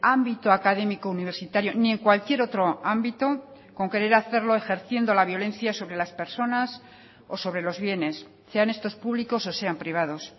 ámbito académico universitario ni en cualquier otro ámbito con querer hacerlo ejerciendo la violencia sobre las personas o sobre los bienes sean estos públicos o sean privados